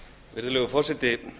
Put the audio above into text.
virðulegur forseti